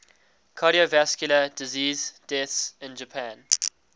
cardiovascular disease deaths in japan